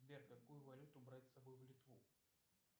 сбер какую валюту брать с собой в литву